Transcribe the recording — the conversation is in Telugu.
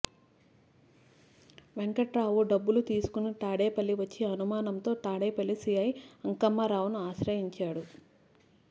వెంకట్రావు డబ్బులు తీసుకుని తాడేపల్లి వచ్చి అనుమానంతో తాడేపల్లి సీఐ అంకమ్మరావును ఆశ్రయించాడు